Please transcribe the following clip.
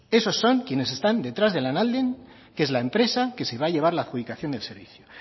esos son quienes están detrás de lanalden que es la empresa que se va a llevar la adjudicación del servicio